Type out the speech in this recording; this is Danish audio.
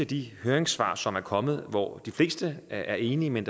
de høringssvar som er kommet hvor de fleste er enige men